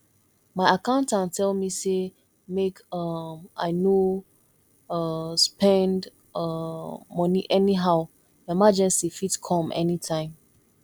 my accountant tell me sey make um i no um spend um moni anyhow emergency fit come anytime